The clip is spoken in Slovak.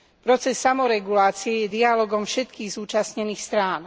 Proces samoregulácie je dialógom všetkých zúčastnených strán.